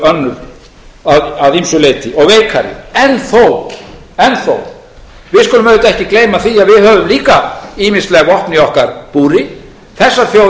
sjálfsögðu önnur að ýmsu leyti og veikari en þó skulum við auðvitað ekki gleyma því að við höfum líka ýmisleg vopn í okkar búri þessar þjóðir eru